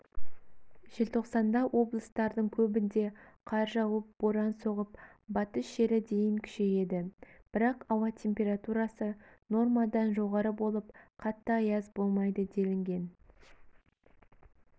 желтоқсанда облыстардың көбінде қар жауып боран соғып батыс желі дейін күшейеді бірақ ауа температурасы нормадан жоғары болып қатты аяз болмайды делінген